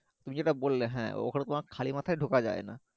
তুমি যেটা বললে হ্যাঁ অগুল তোমার খালি মাথাই ঢোকা যাই না